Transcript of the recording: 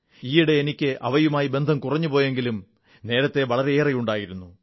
ഈയിടെ എനിക്ക് അവയുമായി ബന്ധം കുറഞ്ഞുപോയെങ്കിലും നേരത്തെ വളരെയുണ്ടായിരുന്നു